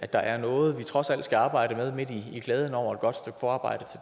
der er noget vi trods alt skal arbejde med midt i glæden over et godt stykke forarbejde